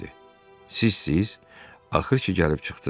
Sizsiz, axır ki, gəlib çıxdız.